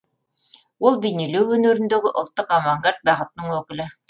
ол бейнелеу өнеріндегі ұлттық авангард бағытының өкілі